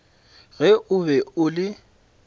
ge o be o le